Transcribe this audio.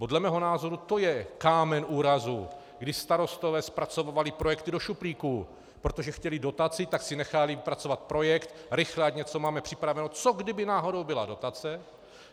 Podle mého názoru to je kámen úrazu, kdy starostové zpracovávali projekty do šuplíku, protože chtěli dotaci, tak si nechávali vypracovat projekt - rychle, ať něco máme připraveno, co kdyby náhodou byla dotace.